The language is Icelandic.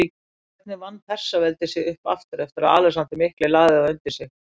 Hvernig vann Persaveldi sig upp aftur eftir að Alexander mikli lagði það undir sig?